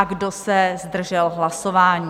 A kdo se zdržel hlasování?